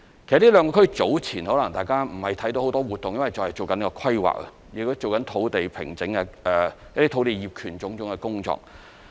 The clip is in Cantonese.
這兩個區早前可能大家未有看見很多活動，因為仍在進行規劃，亦在進行相關的土地平整、土地業權種種的工作。